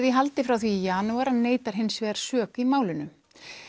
í haldi frá því í janúar en neitar hins vegar sök í málinu